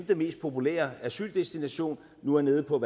de mest populære asyldestinationer nu er nede på at